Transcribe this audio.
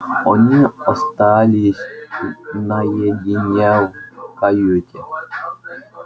они остались наедине в каюте